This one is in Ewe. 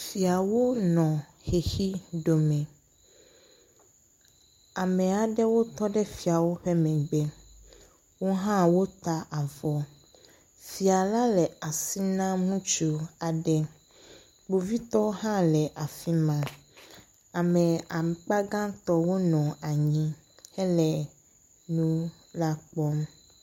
Fiawo nɔ xexi ɖome, ame aɖewo tɔ ɖe fiawo ƒe megbe, wo hã wota avɔ, fia la le asi nam ŋutsu aɖe. Kpovitɔwo hã le afi ma, ame akpa gãtɔ wonɔ anyi hele enu la kpɔm.